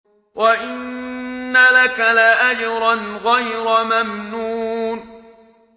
وَإِنَّ لَكَ لَأَجْرًا غَيْرَ مَمْنُونٍ